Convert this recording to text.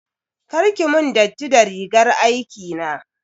Kar ki mun datti da rigar aikina.